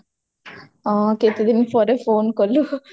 ହଁ କେତେ ଦିନ ପରେ phone କଲୁ